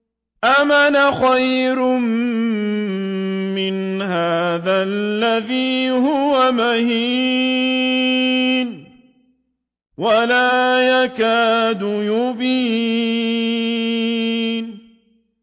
أَمْ أَنَا خَيْرٌ مِّنْ هَٰذَا الَّذِي هُوَ مَهِينٌ وَلَا يَكَادُ يُبِينُ